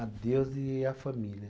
A Deus e a família.